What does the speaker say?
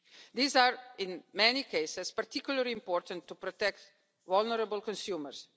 These are in many cases particularly important to protect vulnerable consumers.